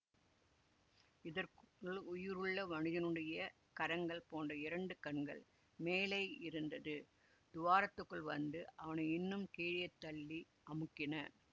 இதற்குள் உயிருள்ள மனிதனுடைய கரங்கள் போன்ற இரண்டு கண்கள் மேலேயிருந்தது துவாரத்துக்குள் வந்து அவனை இன்னும் கீழே தள்ளி அமுக்கின